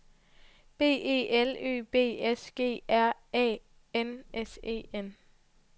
B E L Ø B S G R Æ N S E N